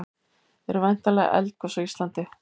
eru væntanleg eldgos á íslandi